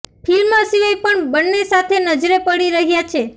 film સિવાય પર બન્ને સાથે નજરે પડી રહ્યા છે